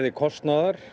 kostnaðar